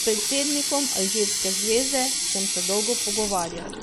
S predsednikom alžirske zveze sem se dolgo pogovarjal.